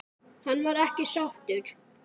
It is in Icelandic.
Hann var ekki sáttur.